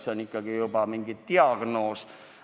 See on ikkagi juba diagnoos.